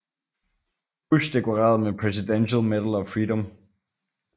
Bush dekoreret med Presidential Medal of Freedom